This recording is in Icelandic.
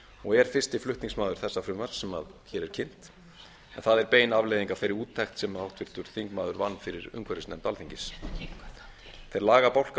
og er fyrsti flutningsmaður þessa frumvarps sem hér er kynnt en það er bein afleiðing af þeirri úttekt sem háttvirtur þingmaður vann fyrir umhverfisnefnd alþingis þeir lagabálkar